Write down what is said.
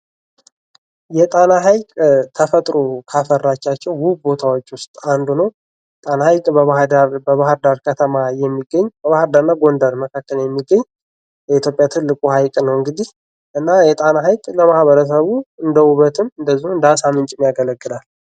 የጣና ሀይቅ ተፈጥሮ ካፈራቸው ውብ ቦታዎች ውስጥ አንዱ ጣና በባህር ዳርና ጎንደር ከተማ መካከል የሚገኝ የኢትዮጵያ ትልቁ ሀይቅ ነው እንግዲህ እና የጣና ሐይቅ ለማህበረሰቡ እንደ ውበትንም እንዲሁም እንደአሳ ምንጭ ያገለግላል።